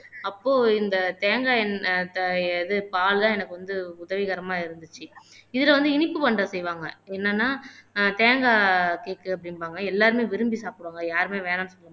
அப்போ இந்த தேங்காய் எண்ணெய் இது பால் எல்லாம் எனக்கு வந்து உதவிகரமா இருந்துச்சு இதுல வந்து இனிப்பு பண்டம் செய்வாங்க என்னன்னா ஆஹ் தேங்காய் கேக் அப்படிம்பாங்க எல்லாருமே விரும்பி சாப்பிடுவாங்க யாருமே வேணாம்னு சொல்ல மாட்டாங்க